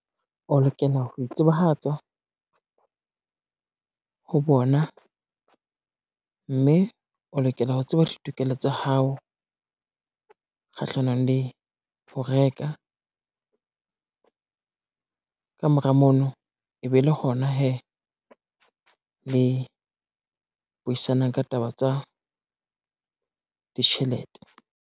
O lokela ho itsebahatsa, ho bona mme o lokela ho tseba ditokelo tsa hao, kgahlanong le ho reka, ka mora mono e be le hona hee le buisanang ka taba tsa ditjhelete.